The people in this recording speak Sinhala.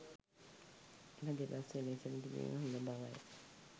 එම දෙබස් එලෙසම තිබීම හොඳ බවයි.